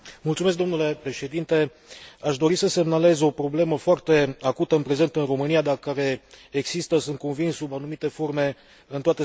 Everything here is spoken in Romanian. Aș dori să semnalez o problemă foarte acută în prezent în România, dar care există, sunt convins, sub anumite forme în toate statele membre ale Uniunii.